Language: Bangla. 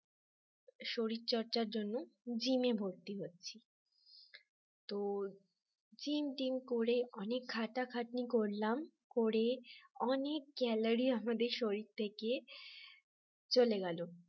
শরীর চর্চার জন্য gym ভর্তি হই তো gym টিম করে অনেক খাটাখাটনি করলাম করে অনেক calorie আমাদের শরীর থেকে চলে গেল